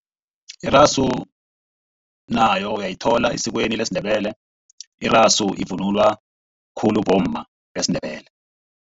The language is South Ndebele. Irasu nayo uyayithola esikweni lesiNdebele. Irasu ivunulwa khulu bomma besiNdebele.